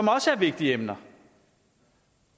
også vigtige emner